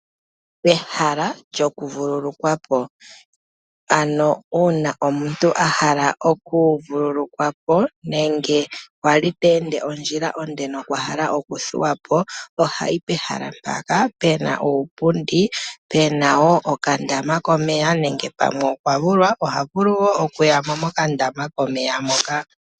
Pehala lyokuvululukwa po, ano una omuntu ahala okuvululukwa po nenge ali ta ende ondjila onde nokwahala okuvululukwa po ohayi pehala mbaka pena uupundi pena woo okandama komeya nenge pamwe okwavulwa ohavulu wo okuya mo mokandama komeya moka.